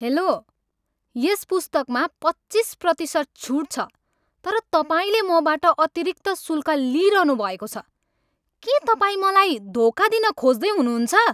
Hello! यस पुस्तकमा पच्चिस प्रतिशत छुट छ तर तपाईँले मबाट अतिरिक्त शुल्क लिइरहनुभएको छ। के तपाईँ मलाई धोका दिन खोज्दै हुनुहुन्छ?